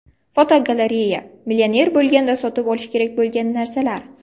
Fotogalereya: Millioner bo‘lganda sotib olish kerak bo‘lgan narsalar.